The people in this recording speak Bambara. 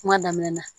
Kuma daminɛ na